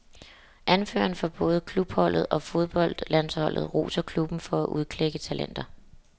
Anføreren for både klubholdet og fodboldlandsholdet roser klubben for at udklække talenter.